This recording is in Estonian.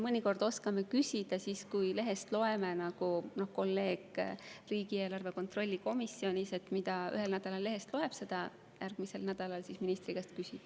Mõnikord oskame küsida siis, kui oleme lehest millegi kohta lugenud, nii nagu ka kolleeg riigieelarve kontrolli komisjonist, et mida ühel nädalal lehest loeb, selle kohta järgmisel nädalal siis ministri käest küsib.